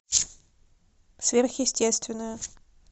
сверхъестественное